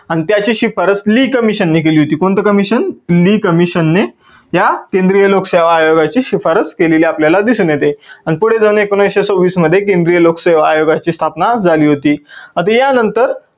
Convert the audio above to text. आणि त्याची शिफारस lee commission ने केली होती. कोणत commission? lee commission ने या केंद्रीय लोकसेवा आयोगाची शिफारस केलेली आपल्याला दिसून येते. आणि पुढे जाऊन केंद्रीय लोकसेवा आयोगामध्ये केंद्रीय लोकसेवा आयोगाची स्थापना झाली होती आणि या नंतर